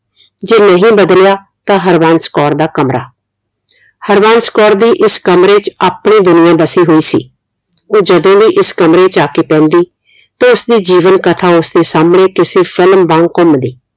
ਜੇ ਨਹੀਂ ਬਦਲਿਆ ਤਾ ਹਰਵੰਸ਼ ਕੌਰ ਦਾ ਕਮਰਾ। ਹਰਵੰਸ਼ ਕੌਰ ਦੇ ਇਸ ਕਮਰੇ ਚ ਆਪਣੀ ਦੁਨੀਆ ਬਸੀ ਹੋਈ ਸੀ ਉਹ ਜਦੋ ਵੀ ਇਸ ਕਮਰੇ ਚ ਆਕੇ ਪੈਂਦੀ ਤੇ ਉਸਦੀ ਜੀਵਨ ਕਥਾ ਉਸਦੇ ਸਾਹਮਣੇ ਕਿਸੇ film ਵਾਂਗ ਘੁੰਮਦੀ।